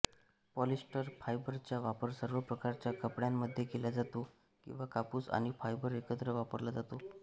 polyester फायबरचा वापर सर्व प्रकारच्या कपड्यांमध्ये केला जातो किंवा कापूस आणि फायबर एकत्र वापरला जातो